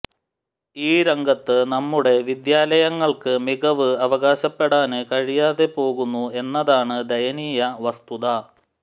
ഈ രംഗത്ത് നമ്മുടെ വിദ്യാലയങ്ങള്ക്ക് മികവ് അവകാശപ്പെടാന് കഴിയാതെ പോകുന്നു എന്നതാണ് ദയനീയ വസ്തുത